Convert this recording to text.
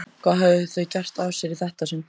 Hvað höfðu þau gert af sér í þetta sinn?